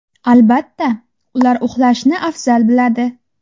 Albatta, ular uxlashni afzal biladi.